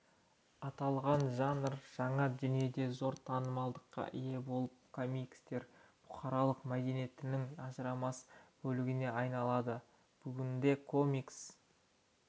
аталған жанр жаңа дүниеде зор танымалдылыққа ие болып комикстер бұқаралық мәдениетінің ажырамас бөлігіне айналды бүгінде комикс